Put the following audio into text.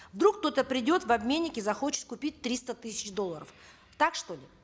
вдруг кто то придет в обменник и захочет купить триста тысяч долларов так что ли